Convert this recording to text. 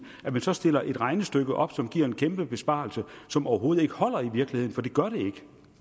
at man så stiller et regnestykke op som giver en kæmpe besparelse som overhovedet ikke holder i virkeligheden for det gør det ikke